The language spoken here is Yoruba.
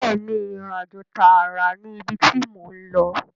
Bẹ́ẹ̀ni ìrìnàjò tààrà ni ibi tí mò ń lọ